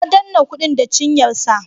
Ya danne kudin da cinyarsa.